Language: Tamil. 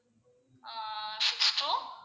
ah six two